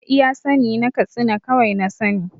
A iya sa ni na katsina kawai na sa ni